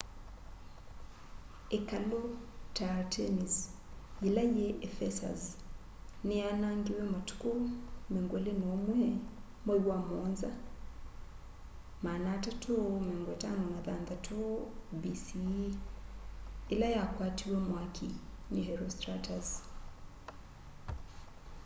ikalu ta artemis yila yi ephesus ni yaanangiwa matuku 21 mwai wa muonza 356 bce ila yakwatiwe mwaki ni herostratus